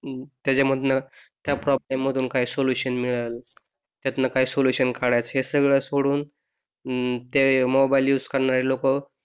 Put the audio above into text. त्याच्या मधनं त्या प्रॉब्लेम मधून सोल्युशन मिळेल त्यातून काय सोल्युशन काढायचं ते सगळं सोडून अं त्या मोबाइल युज करणारी लोक,